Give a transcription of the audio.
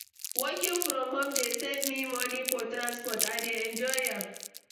Working from home dey save me money for transport. I dey enjoy am.